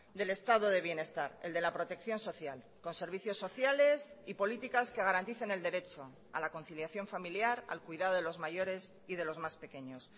del estado de bienestar el de la protección social con servicios sociales y políticas que garanticen el derecho a la conciliación familiar al cuidado de los mayores y de los más pequeños